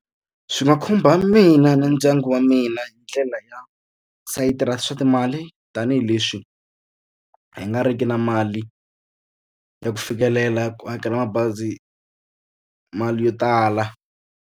Swi nga khumba mina na ndyangu wa mina hi ndlela ya sayiti ra swa timali tanihileswi hi nga riki na mali ya ku fikelela ku hakela mabazi mali yo tala.